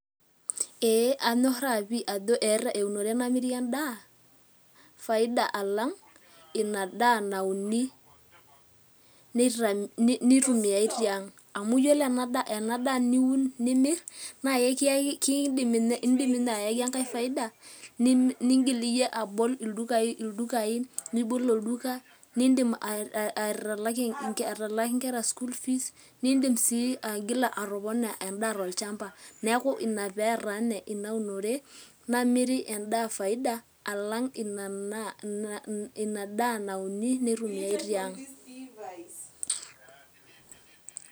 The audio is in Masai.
Eeh kanyorraa ajo eeta eunore namiri endaa faida alang' ina daa nauni naitumiyai tiang' amu iyiolo ena daa niun nimirr naa kiindim ninye ayaki enkae faida niindim atabolo olduka, niidim atalaaki inkera school fees niidim sii aigila atopona endaa, neeku ina pee eeta ninye ina unore namiri endaa faida alang' ina daa nauni neitumie tiang'.